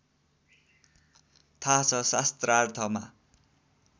थाहा छ शास्त्रार्थमा